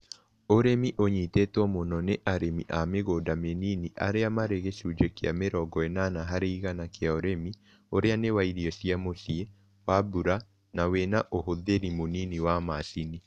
Ũrimi unyititwo mũno nĩ arĩmĩ a mĩgũnda mĩnini arĩa marĩ gĩcunjĩ kĩa mĩrongo ĩnana harĩ igana kĩa ũrĩmi ũrĩa nĩ wa irio ya mũciĩ , wa mbura na wĩna ũhũthĩri mũnini wa macini